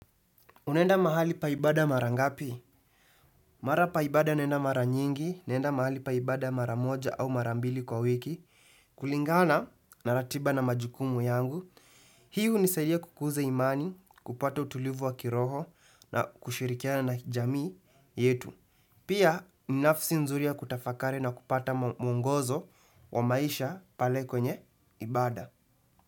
Unaenda mahali pa ibada mara ngapi? Mara pa ibada naenda mara nyingi, naenda mahali pa ibada mara moja au mara mbili kwa wiki, kulingana na ratiba na majukumu yangu. Hii hunisaidia kukuza imani, kupata utulivu wa kiroho na kushirikiana na jamii yetu. Pia ninafsi nzuri ya kutafakari na kupata mwongozo wa maisha pale kwenye ibada.